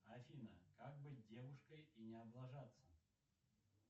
афина как быть девушкой и не облажаться